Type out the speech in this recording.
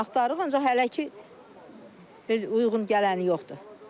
Axtarırıq, ancaq hələ ki uyğun gələni yoxdur.